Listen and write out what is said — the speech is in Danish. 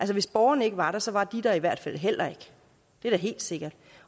hvis borgerne ikke var der så var de der i hvert fald heller ikke det er da helt sikkert